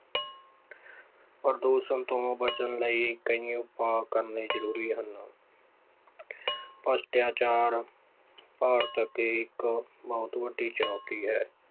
ਪ੍ਰਦੂਸ਼ਣ ਤੋਂ ਬਚਣ ਲਈ ਕਈ ਉਪਾਅ ਕਰਨੇ ਜ਼ਰੂਰੀ ਹਨ ਭ੍ਰਿਸ਼ਟਾਚਾਰ ਭਾਰਤ ਅੱਗੇ ਇੱਕ ਬਹੁਤ ਵੱਡੀ ਚੁਣੋਤੀ ਹੈ।